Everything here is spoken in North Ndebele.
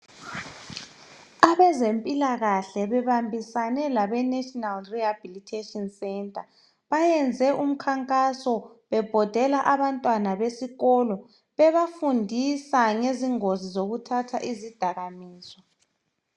Abezempilakahle bebambisane labe national rehabilitation centre beyenze umkhankaso bebhodela abamtwana besikolo bebafundisa ngezingozi zokuthatha izidakamizwa